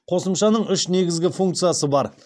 қосымшаның үш негізгі функциясы бар